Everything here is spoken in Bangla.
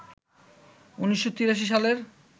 ১৯৮৩ সালের